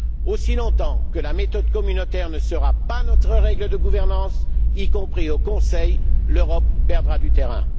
Aussi longtemps que la méthode communautaire ne sera pas notre règle de gouvernance, y compris au Conseil, l'Europe perdra du terrain.